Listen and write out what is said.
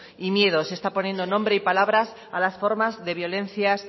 y miedos está poniendo nombre y palabras a las formas de violencias